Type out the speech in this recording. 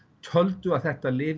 töldu að þetta lyf